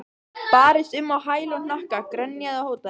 Barðist um á hæl og hnakka, grenjaði og hótaði.